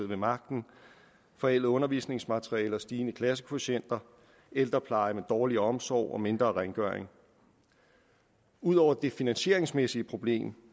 ved magten forældede undervisningsmaterialer og stigende klassekvotienter ældrepleje med dårlig omsorg og mindre rengøring ud over det finansieringsmæssige problem